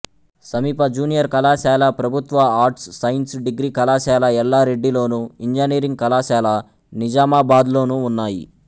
సమీప జూనియర్ కళాశాల ప్రభుత్వ ఆర్ట్స్ సైన్స్ డిగ్రీ కళాశాల ఎల్లారెడ్డిలోను ఇంజనీరింగ్ కళాశాల నిజామాబాద్లోనూ ఉన్నాయి